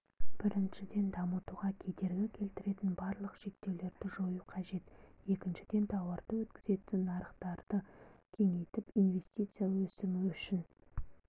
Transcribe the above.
біріншіден дамытуға кедергі келтіретін барлық шектеулерді жою қажет екіншіден тауарды өткізетін нарықтарды кеңейтіп инвестиция өсімі үшін